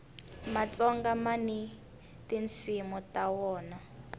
matsonga mani tinsimu ta wona